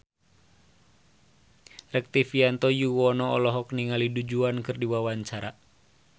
Rektivianto Yoewono olohok ningali Du Juan keur diwawancara